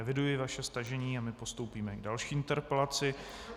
Eviduji vaše stažení a my postoupíme k další interpelaci.